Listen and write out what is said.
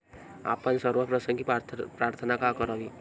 आपण सर्व प्रसंगी प्रार्थना का करावी?